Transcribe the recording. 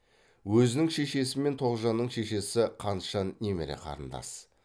өзінің шешесі мен тоғжанның шешесі қантжан немере қарындас